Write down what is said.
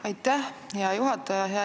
Aitäh, hea juhataja!